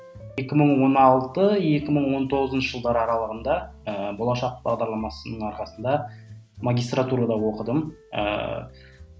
екі мың он алты екі мың он тоғызыншы жылдары аралығында ыыы болашақ бағдарламасының арқасында магистратурада оқыдым ыыы